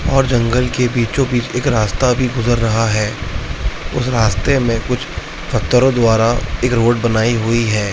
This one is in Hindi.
और जंगल के बीचो बीच एक रास्ता भी गुज़र रहा है उस रास्ते में कुछ पत्थरो द्वारा एक रोड बनाई हुई है।